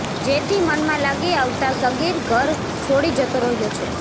જેથી મનમાં લાગી આવતા સગીર ઘર છોડી જતો રહ્યો છે